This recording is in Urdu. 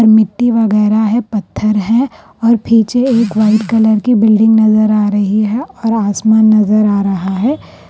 وغیرہ ہے پتھر ہے اور پیچھے ایک وائٹ کلر کی بلڈنگ نظر ارہی ہے اور اسمان نظر ارہا ہے.